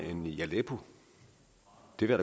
de der